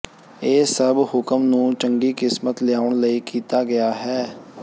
ਇਹ ਸਭ ਹੁਕਮ ਨੂੰ ਚੰਗੀ ਕਿਸਮਤ ਲਿਆਉਣ ਲਈ ਕੀਤਾ ਗਿਆ ਹੈ